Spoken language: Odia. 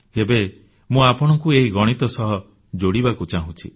ଏବେ ମୁଁ ଆପଣଙ୍କୁ ଏହି ଗଣିତ ସହ ଯୋଡ଼ିବାକୁ ଚାହୁଁଛି